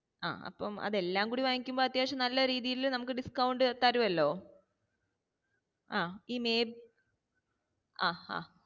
ആ അപ്പം അത്‌ എല്ലാം കൂടി വാങ്ങിക്കുമ്പോ അത്യാവശ്യം നല്ല രീതിയില് നമ്മക്ക് discount തരുവല്ലോ ആ ഈ